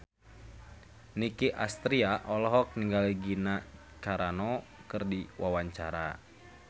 Nicky Astria olohok ningali Gina Carano keur diwawancara